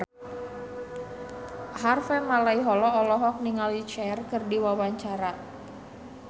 Harvey Malaiholo olohok ningali Cher keur diwawancara